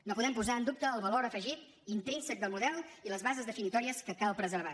no podem posar en dubte el valor afegit intrínsec del model i les bases definitòries que cal preservar